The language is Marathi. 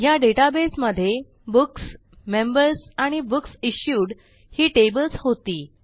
ह्या डेटाबेसमधे बुक्स मेंबर्स आणि बुक्स इश्यूड ही टेबल्स होती